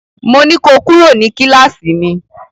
Mo ní ko kúrò ní kíláàsì mi!